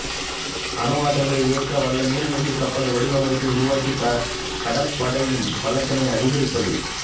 அணுவாற்றலில் இயங்க வல்ல நீர்மூழ்கிக் கப்பலை வடிவமைத்து உருவாக்கிக் கடற்படையின் பலத்தினை அதிகரிப்பது